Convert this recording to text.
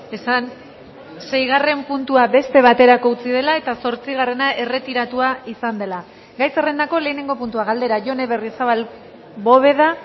esan seigarren puntua beste baterako utzi dela eta zortzigarrena erretiratua izan dela gai zerrendako lehenengo puntua galdera jone berriozabal bóveda